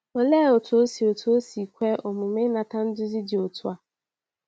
Olee otú o si otú o si kwe omume inata nduzi dị otu a?